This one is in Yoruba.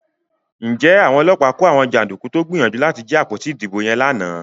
Njé Àwọn ọlọ́pàá kò àwọn janduku tó gbìyànjú láti jí àpótí ìdìbò yen lànà?